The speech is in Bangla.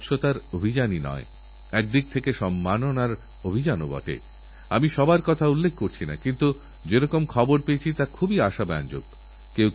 তাই যতদিনের জন্যযতগুলো ঔষধ দেওয়া হয়েছে সেই কোর্সটা পুরো করাটা খুবই দরকারী শরীর সুস্থ হয়েগেছে তাই এখন আর দরকার নেই এটা যদি আমরা করি তাতে রোগের জীবানুদের সুবিধা হয়েযাবে আর ওই সব জীবানু আরও শক্তিশালী হয়ে উঠবে